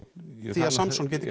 því að Samson geti